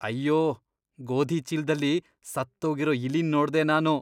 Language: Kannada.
ಅಯ್ಯೋ! ಗೋಧಿ ಚೀಲ್ದಲ್ಲಿ ಸತ್ತೋಗಿರೋ ಇಲಿನ್ ನೋಡ್ದೆ ನಾನು.